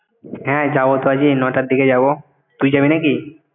হ্যাঁ যাবো তো আজই নটার দিকে যাবো। তুই যাবি নাকি?